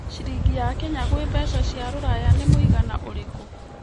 ciringi ya Kenya gwĩ mbeca cia rũraya nĩ mũigana ũrikũ